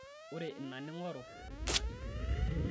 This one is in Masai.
ore ina ningoru naa itum